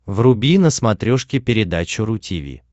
вруби на смотрешке передачу ру ти ви